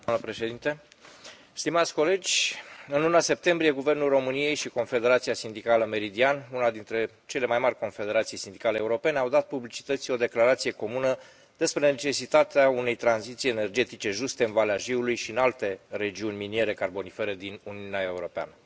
Doamnă președintă, stimați colegi, în luna septembrie, Guvernul României și Confederația Sindicală Meridian, una dintre cele mai mari confederații sindicale europene, au dat publicității o declarație comună despre necesitatea unei tranziții energetice juste în Valea Jiului și în alte regiuni miniere carbonifere din Uniunea Europeană.